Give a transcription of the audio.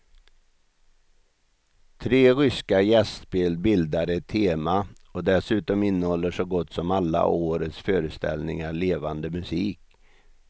Tre ryska gästspel bildar ett tema och dessutom innehåller så gott som alla årets föreställningar levande musik.